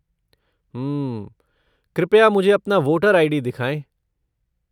हम्म। कृपया मुझे अपना वोटर आई.डी. दिखाएं।